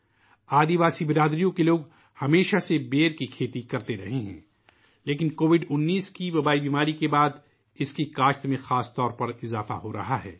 قبائلی سماج کے لوگ ہمیشہ سے بیر کی کاشت کرتے رہے ہیں لیکن خاص طور پر کووڈ 19 وبائی بیماری کے بعد اس کی کاشت میں اضافہ ہو رہا ہے